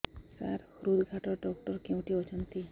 ସାର ହୃଦଘାତ ଡକ୍ଟର କେଉଁଠି ଅଛନ୍ତି